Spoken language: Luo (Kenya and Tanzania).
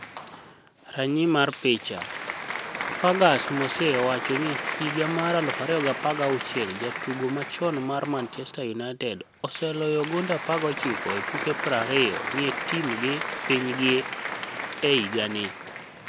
Raniyi mar picha ,Furgus Mose owacho nii higa mar 2016jatugo machoni mar Manichester Uniited oseloyo gonide 19 e tuke 20 ni e tim gi piniy'gi e higanii.